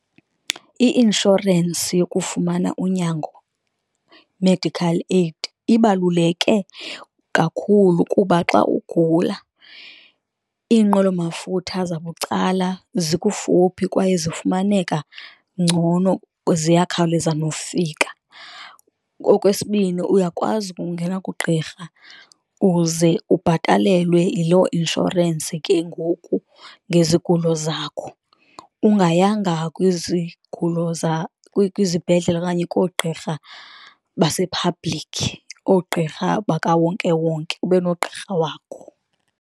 I-inshorensi yokufumana unyango medical aid ibaluleke kakhulu, kuba xa ugula iinqwelomafutha zabucala zikufuphi kwaye zifumaneka ngcono ziyakhawuleza nokufika. Okwesibini, uyakwazi ukungena kugqirha uze ubhatalelwe yiloo inshorensi ke ngoku ngezigulo zakho, ungayanga kwizigulo kwizibhedlele okanye koogqirha basephablikhi oogqirha bakawonkewonke, ube nogqirha wakho.